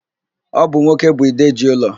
Ọ bụ nwoke bụ ide ji ụlọ.